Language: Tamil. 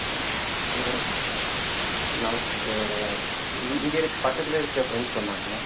அங்க ஆஹ் இங்க இருக்க பக்கத்துல இருக்க friends சொன்னாங்க